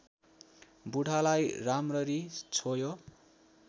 बुढालाई राम्ररी छोयो